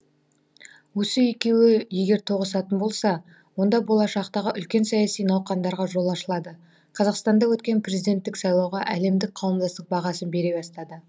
осы екеуі егер тоғысатын болса онда болашақтағы үлкен саяси науқандарға жол ашылады қазақстанда өткен президенттік сайлауға әлемдік қауымдастық бағасын бере бастады